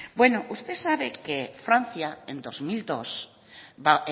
bueno usted sabe que francia en dos mil dos